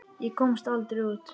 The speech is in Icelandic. Ég komst aldrei út.